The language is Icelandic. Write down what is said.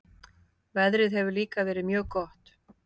Veðrið hefur líka verið mjög gott